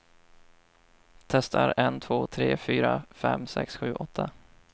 Testar en två tre fyra fem sex sju åtta.